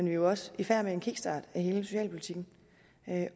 jo også i færd med en kickstart af hele socialpolitikken